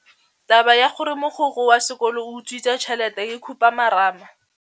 Taba ya gore mogokgo wa sekolo o utswitse tšhelete ke khupamarama.